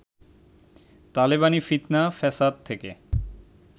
তালেবানি ফিৎনা ফ্যাসাদ থেকে